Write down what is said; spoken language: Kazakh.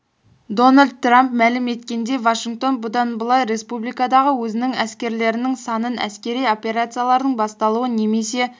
дональд трамп мәлім еткендей вашингтон бұдан былай республикадағы өзінің әскерлерінің санын әскери операциялардың басталуы немесе